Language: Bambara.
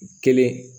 Kelen